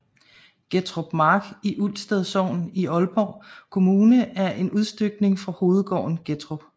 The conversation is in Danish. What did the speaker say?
Gettrup Mark i Ulsted Sogn i Aalborg Kommune er en udstykning fra hovedgården Gettrup